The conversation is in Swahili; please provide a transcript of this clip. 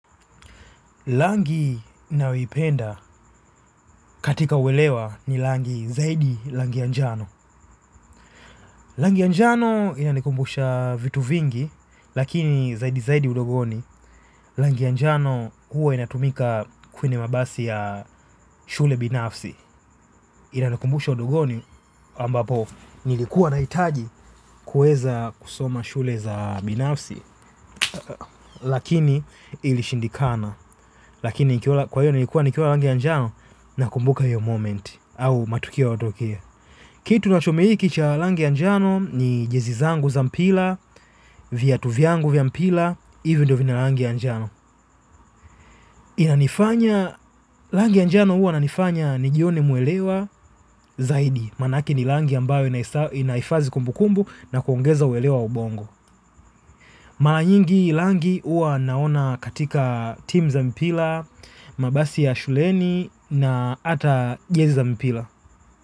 Rangi ninayoipenda katika uelewa ni rangi zaidi rangi ya njano. Rangi ya njano inanikumbusha vitu vingi, lakini zaidi zaidi udogoni. Rangi ya njano huwa inatumika kwenye mabasi ya shule binafsi. Inanikumbusha udogoni ambapo nilikuwa nahitaji kuweza kusoma shule za binafsi. Lakini ilishindikana. Lakini nilikuwa nikiona rangi ya njano nakumbuka hiyo moment. Kitu kinachotumia rangi ya njano ni jezi zangu za mpira, viatu vyangu vya mpira, hivyo ndivyo vina rangi ya njano. Inanifanya, rangi ya njano huwa inanifanya nijione muelewa zaidi, maanake ni rangi ambayo inahifadhi kumbukumbu na kuongeza uelewa ubongo. Mara nyingi rangi huwa naona katika team za mpira, mabasi ya shuleni na ata jezi za mpira.